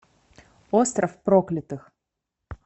остров проклятых